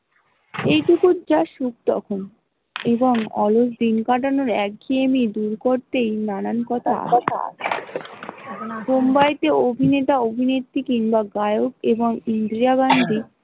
এই টুকু যা সুর তখন এবং অলস দিন কাটানোর এক ঘেয়েমি দূর করতে নানান কথা মুম্বাই তে অভিনেতা অভিনেত্রি কিংবা গায়ক এবং ইন্দিরা গান্ধী।